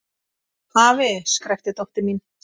Afi! skrækti dóttir mín.